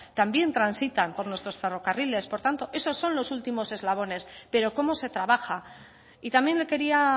también transitan por nuestros ferrocarriles por tanto esos son los últimos eslabones pero cómo se trabaja y también le quería